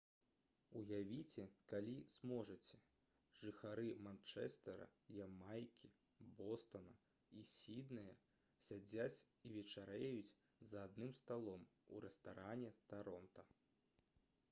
уявіце калі зможаце жыхары манчэстэра ямайкі бостана і сіднэя сядзяць і вячэраюць за адным сталом у рэстаране таронта